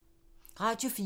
Radio 4